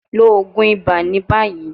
Lo oogun iba ni bayi